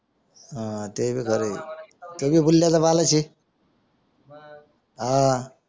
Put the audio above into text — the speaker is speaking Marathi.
हा ते भी खरंय तो भी बुलायाचा बालच आहे हां